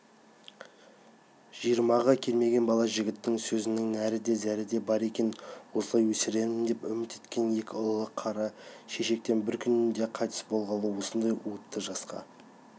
жиырмаға келмеген бала жігіттің сөзінің нәрі де зәрі де бар екен осылай өсірермін деп үміт еткен екі ұлы қара шешектен бір күнде қайтыс болғалы осындай уытты жасқа